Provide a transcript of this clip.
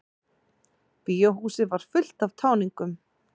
Bíóhúsið var fullt af táningum.